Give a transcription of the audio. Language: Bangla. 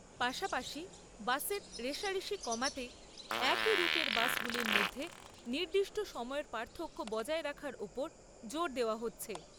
পাশাপাশি বাসের রেষারেষি কমাতে একই রুটের বাসগুলির মধ্যে নির্দিষ্ট সময়ের পার্থক্য বজায় রাখার ওপর জোর দেওয়া হচ্ছে।